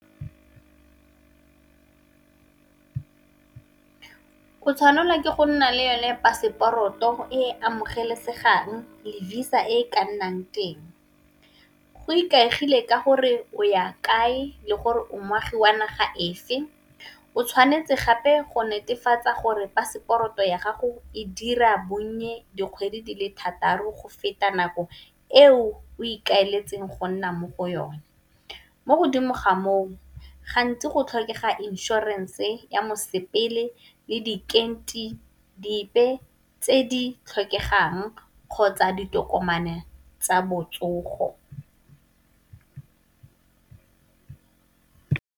O tshwanela ke go nna le yone paseporoto e amogelesegang le visa e ka nnang teng. Go ikaegile ka gore o ya kae le gore o moagi wa naga efe, o tshwanetse gape go netefatsa gore paseporoto ya gago e dira bonnye dikgwedi di le thataro go feta nako eo o ikaeletseng go nna mo go yone. Mo godimo ga moo gantsi go tlhokega inšorense ya mosepele le dikenti dipe tse di tlhokegang kgotsa ditokomane tsa botsogo.